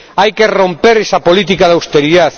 Hay que romper esa política de austeridad.